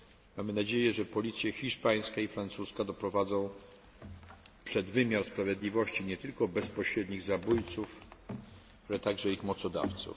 Mamy nadzieję, że policja hiszpańska i francuska doprowadzi przed wymiar sprawiedliwości nie tylko bezpośrednich zabójców, ale także ich mocodawców.